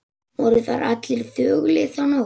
Voru þar allir þögulir þá nótt.